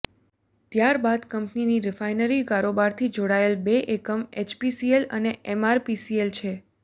ત્યાર બાદ કંપનીની રિફાઇનરી કારોબારથી જોડાયેલ બે એકમ એચપીસીએલ અને એમઆરપીએલ છે